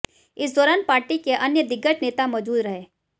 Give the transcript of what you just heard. इस दौरान पार्टी के अन्य दिग्गज नेता मौजूद रहे